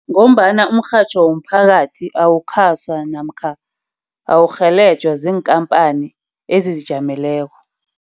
Ngombana umrhatjho womphakathi awukhaswa namkha awurhelejwe ziinkhampani ezizijameleko.